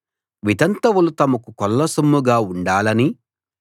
వితంతువులు తమకు కొల్లసొమ్ముగా ఉండాలనీ